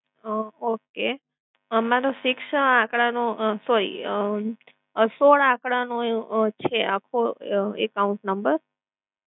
અ okay તો મારો six આંકડાનો અમ sorry અમ સોળ આકડાનો છે આખો અમ account number